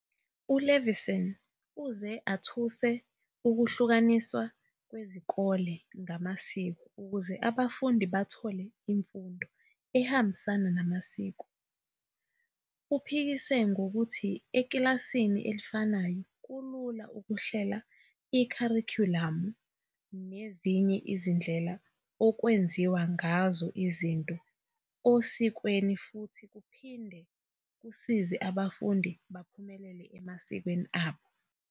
U-Levinson uze atuse ukuhlukaniswa kwezikole ngamasiko ukuze abafundi bathole imfundo "ehambisana namasiko". Uphikisa ngokuthi ekilasini elifanayo kulula ukuhlela ikharikhulamu nezinye izindlela okwenziwa ngazo izinto osikweni futhi kuphinde kusize abafundi baphumelele emasikweni abo.